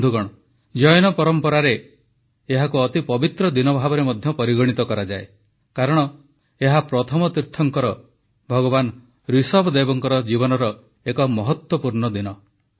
ବନ୍ଧୁଗଣ ଜୈନ ପରମ୍ପରାରେ ମଧ୍ୟ ଏହାକୁ ଅତି ପବିତ୍ର ଦିନ ଭାବେ ପରିଗଣିତ କରାଯାଏ କାରଣ ଏହା ପ୍ରଥମ ତୀର୍ଥଙ୍କର ଭଗବାନ ଋଷଭ ଦେବଙ୍କ ଜୀବନର ଏକ ମହତ୍ୱପୂର୍ଣ୍ଣ ଦିନ